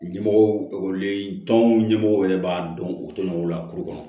Ɲɛmɔgɔw ekɔliden tɔnw ɲɛmɔgɔw yɛrɛ b'a dɔn u tɛ nɔgɔ lakuru kɔnɔ